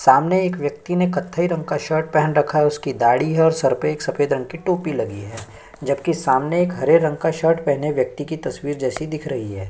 सामने एक व्यक्ति ने कत्थे रंग का कुछ शर्ट पहन रखा है उसकी दाढ़ी है और सफ़ेद रंग की टोपी लगी है जबकि सैमने एक हरे रंग का शर्ट पहने व्यक्ति तस्वीर जैसी दिख रही है।